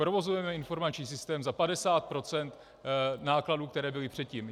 Provozujeme informační systém za 50 % nákladů, které byly předtím.